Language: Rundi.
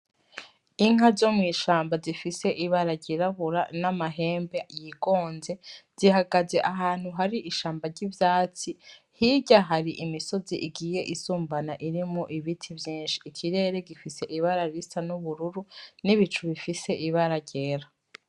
Inka zo mw'ishamba zifise ibara ryirabura n'amahembe yigonze zihagaze ahantu hari ishamba ry'ivyatsi hirya hari imisozi igiye isumbana iri mu ibiti vyinshi ikirere gifise ibara risa n'ubururu n'ibicu bifise ibara ryera.